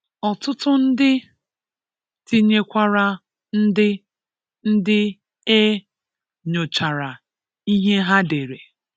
Ọtụtụ ndị, tinyekwara ndị ndị e nyochara ihe ha dere